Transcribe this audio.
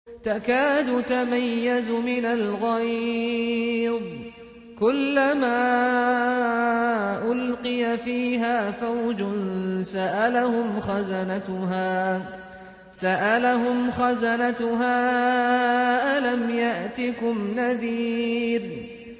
تَكَادُ تَمَيَّزُ مِنَ الْغَيْظِ ۖ كُلَّمَا أُلْقِيَ فِيهَا فَوْجٌ سَأَلَهُمْ خَزَنَتُهَا أَلَمْ يَأْتِكُمْ نَذِيرٌ